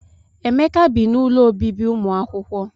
Emeka bị n'ụlọ ọbibi umuakwukwo.